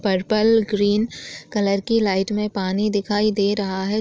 Purple green colour की light में पानी दिखाई दे रहा हैं।